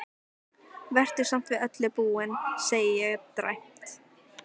Vertu samt við öllu búin, segi ég dræmt.